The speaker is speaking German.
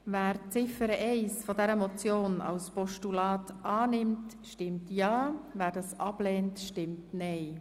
Wer Ziffer 1 als Postulat annimmt, stimmt ja, wer das ablehnt, stimmt nein.